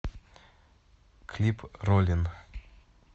клип ролин